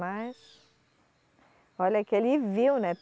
Mas... Olha, que ele viu, né?